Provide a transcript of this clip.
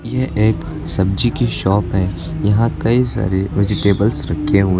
यह एक सब्जी की शॉप है यहां कई सारे वेजिटेबल्स रखे हुए--